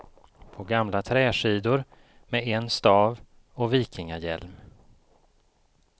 På gamla träskidor, med en stav och vikingahjälm.